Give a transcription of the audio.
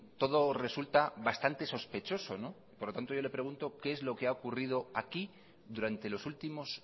todo resulta bastante sospechoso por lo tanto yo le pregunto qué es lo que ha ocurrido aquí durante los últimos